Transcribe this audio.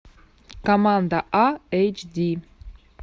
команда а эйч ди